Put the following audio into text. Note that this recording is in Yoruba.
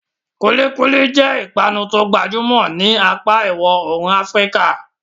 Kulikuli jẹ́ ìpanu tó gbajúmọ̀ ní apá ìwọ̀ oòrùn Afíríkà.